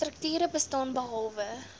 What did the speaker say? strukture bestaan behalwe